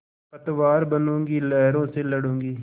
पतवार बनूँगी लहरों से लडूँगी